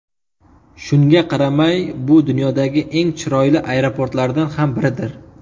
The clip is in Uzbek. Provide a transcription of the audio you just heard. Shunga qaramay, bu dunyodagi eng chiroyli aeroportlardan ham biridir.